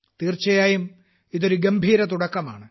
തീർച്ചയായും ഇത് ഒരു ഗംഭീരതുടക്കമാണ്